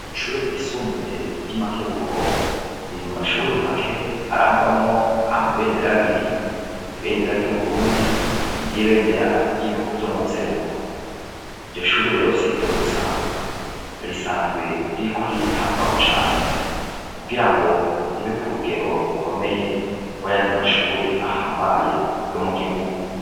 Kw'ishure ryisumbuye ry'imakebuko riri mu mashure make arangwamwo amabendera abiri ibendera ry'uburundi n'ibendera ry'ibihugu vyo mu buseruko ivyo shuri rero si vyo gusa risanzwe ririko riritabwaho cane kugira ngo ribe ku rugero rukomeye, kuko yandi mashure ahambaye yo mu gihugu.